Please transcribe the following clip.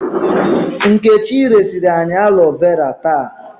Nkechi resiri anyị alo vera taa.